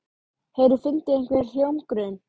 Hefurðu fundið einhvern hljómgrunn?